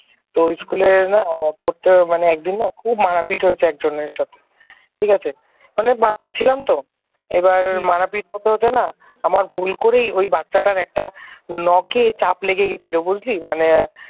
তো ওই school র না পড়তো একদিন না খুব মারপিট হয়েছে একজনের সাথে ঠিক আছে মানে বাচ্চা ছিলাম তো এবার মারপিট হতে হতে না আমার ভুল করেই ওই বাচ্চাটার একটা নখে চাপ লেগে গেছিল বুঝলি মানে